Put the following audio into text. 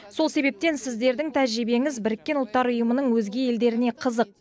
сол себептен сіздердің тәжірибеңіз біріккен ұлттар ұйымының өзге елдеріне қызық